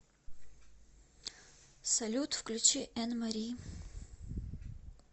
салют включи эннмари